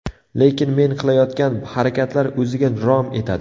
Lekin men qilayotgan harakatlar o‘ziga rom etadi.